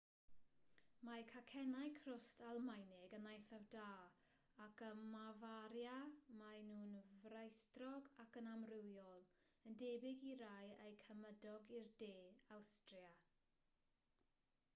mae cacennau crwst almaenig yn eithaf da ac ym mafaria maen nhw'n frasterog ac yn amrywiol yn debyg i rai eu cymydog i'r de awstria